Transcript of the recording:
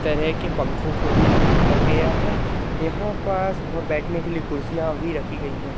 तरह के पंखों को भी लगाया गया है यहां पास वो बैठने के लिए कुर्सियां भी रखी गई है।